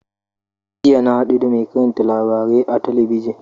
Jiya na haɗu da mai karanta labarai a talabijin.